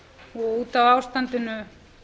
og út af ástandinu